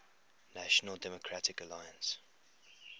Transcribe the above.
national democratic alliance